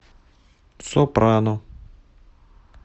сопрано